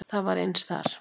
Það var eins þar.